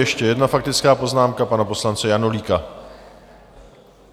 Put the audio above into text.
Ještě jedna faktická poznámka pana poslance Janulíka.